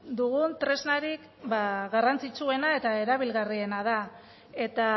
dugun tresnarik garrantzitsuena eta erabilgarriena da eta